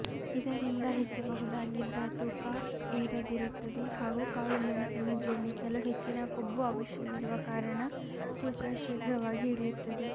ಇದರಿಂದ ಹೆಚ್ಚಬಹುದಾಗಿದ್ದ ತೂಕ ಏರದಿರುತ್ತದೆ ಹಾಗೂ ಕಾಳು ಮೆಣಸನ್ನು ಜೀರ್ಣಿಸಲು ಹೆಚ್ಚಿನ ಕೊಬ್ಬು ಅವಶ್ಯವಿರುವ ಕಾರಣ ತೂಕ ಶೀಘ್ರವಾಗಿ ಇಳಿಯುತ್ತದೆ